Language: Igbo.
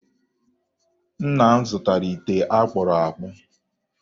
Nna m zụtara ite a kpụrụ akpụ